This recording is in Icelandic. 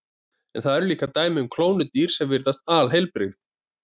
En það eru líka dæmi um klónuð dýr sem virðast alheilbrigð.